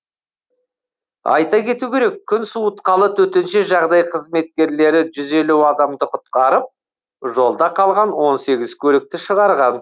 айта кету керек күн суытқалы төтенше жағдай қызметкерлері жүз елу адамды құтқарып жолда қалған он сегіз көлікті шығарған